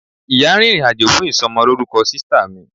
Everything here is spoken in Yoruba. ìyá rìnrìn àjò fún isomoloruko sista mi